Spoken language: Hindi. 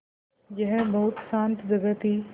यह बहुत शान्त जगह थी